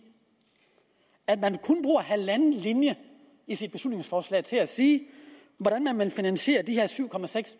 kun bruger halvanden linje i sit beslutningsforslag til at sige hvordan man vil finansiere de her syv